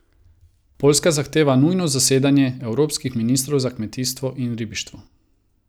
Poljska zahteva nujno zasedanje evropskih ministrov za kmetijstvo in ribištvo.